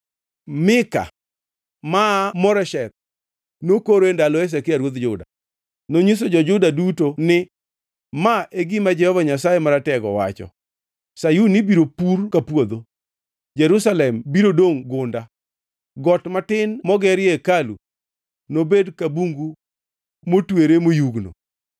“Mika maa Moresheth nokoro e ndalo Hezekia ruodh Juda. Nonyiso jo-Juda duto ni, ‘Ma e gima Jehova Nyasaye Maratego wacho: “ ‘Sayun ibiro pur ka puodho, Jerusalem biro dongʼ gunda, got matin mogerie hekalu nobed ka bungu motwere moyugno.’